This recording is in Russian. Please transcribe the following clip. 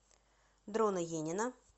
дрона енина